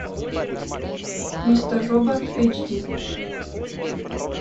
мистер робот эйч ди